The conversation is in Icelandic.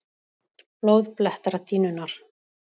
Blóð blettar dýnurnar.